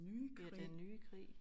Ja den nye krig